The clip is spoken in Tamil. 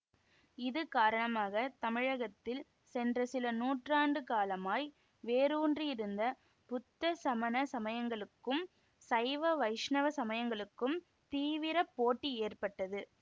இது காரணமாக தமிழகத்தில் சென்ற சில நூற்றாண்டுகாலமாய் வேரூன்றியிருந்த புத்த சமண சமயங்களுக்கும் சைவ வைஷ்ணவ சமயங்களுக்கும் தீவிர போட்டி ஏற்பட்டது